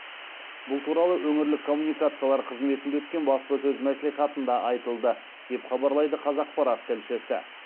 бұл туралы өңірлік коммуникациялар қызметінде өткен баспасөз мәслихатында айтылды деп хабарлайды қазақпарат тілшісі